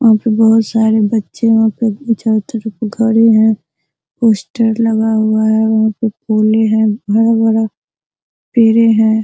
बहुत सरे बच्चे है चारो तरफ है पोस्टर लगा हुआ है वह पे फूल है बड़ा-बड़ा पेड़े हैं।